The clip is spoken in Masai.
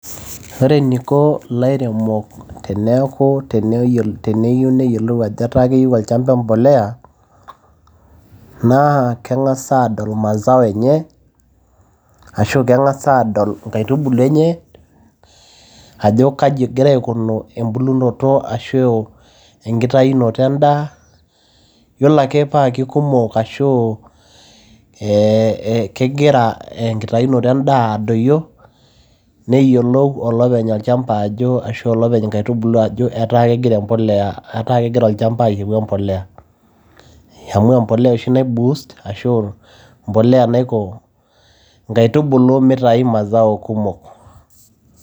Ore eneiko ilairemok teneyieu neyiolou ajo keyieu olchamba impoleya, naa keng'as aadol mazao enye ashu keng'as adol inkaitubulu enye, ajo kaji egira aikunu embulunoto ashu enkitayunoto endaa, iyiolo ake paa keikumok ashu kegira enkitayunoto endaa adoyio, neyiolou olopeny olchamba ajo, ashu olopeny inkaitubulu ajo ataa kegira olchamba ayieu mpolea. Amu empolea oshi nai boost einkaitubulu meitayu mazao kumok